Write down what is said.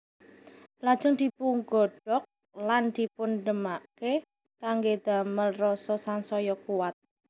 Lajeng dipungodhog lan dipundhemake kangge damel rasa sansaya kuwat